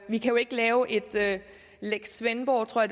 vi kan jo ikke lave en lex svendborg tror